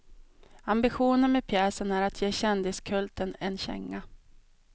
Ambitionen med pjäsen är att ge kändiskulten en känga.